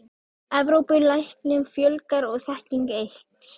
Evrópu, læknum fjölgar og þekking eykst.